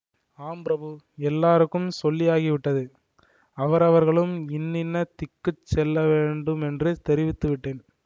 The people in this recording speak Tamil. ஆம் பிரபு எல்லோருக்கும் சொல்லியாகிவிட்டது அவரவர்களும் இன்னின்ன திக்குக்குச் செல்ல வேண்டுமென்று தெரிவித்து விட்டேன்